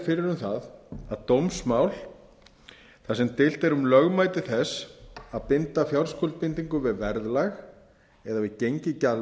fyrir um það að dómsmál þar sem deilt er um lögmæti þess að binda fjárskuldbindingu við verðlag eða við gengi